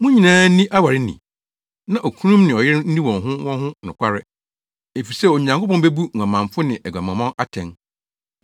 Mo nyinaa nni aware ni, na okununom ne ɔyerenom nni wɔn ho wɔn ho nokware, efisɛ Onyankopɔn bebu nguamanfo ne aguamammɔ atɛn.